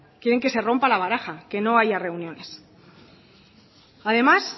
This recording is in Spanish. quieren que se rompa la baraja que no haya reuniones además